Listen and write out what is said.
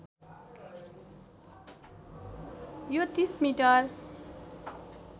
यो ३० मिटर